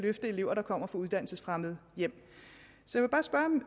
elever der kommer fra uddannelsesfremmede hjem så